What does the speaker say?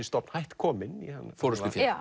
stofn hætt kominn forystuféð